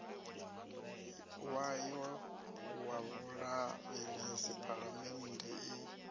wayo wa vhulavhelesi phalamennde i